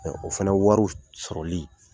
O fana wari sɔrɔli